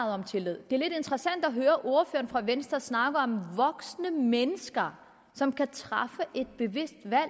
om tillid det er lidt interessant at høre ordføreren fra venstre snakke om voksne mennesker som kan træffe et bevidst valg